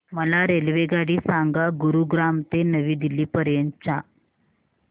मला रेल्वेगाडी सांगा गुरुग्राम ते नवी दिल्ली पर्यंत च्या